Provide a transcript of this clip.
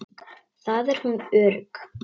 Þar er hún örugg.